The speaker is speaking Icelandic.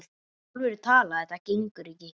alvöru talað: þetta gengur ekki!